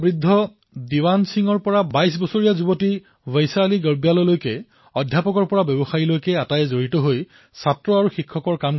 কিন্তু ৰংগ ভাষাক বচোৱাৰ বাবে সকলো ইয়াত জড়িত হৈ পৰিল চৌৰাশী বছৰীয়া বৃদ্ধ দীৱান সিঙেই হওক অথবা বাইশ বৰ্ষীয় বৈশালী গৰ্বাল অধ্যাপকেই হওক অথবা ব্যৱসায়ী সকলোৱে নিজৰ ধৰণে এই প্ৰয়াসত নামি পৰিল